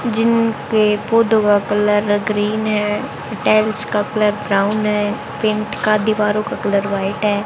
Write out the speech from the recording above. जिनके colour green है tiles का कलर ब्राउन है पेंट का दीवारों का कलर व्हाइट है।